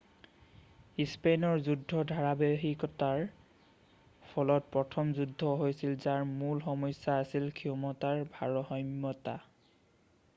স্পেইনৰ যুদ্ধৰ ধাৰাবাহিকতাৰ ফলত প্ৰথম যুদ্ধ হৈছিল যাৰ মূল সমস্যা আছিল ক্ষমতাৰ ভাৰসমতা